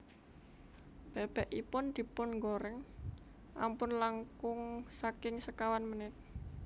Bebekipun dipungoreng ampun langkung saking sekawan menit